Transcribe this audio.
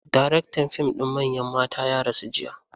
Daraktan fim ɗin Manyan Mata ya rasu jiya.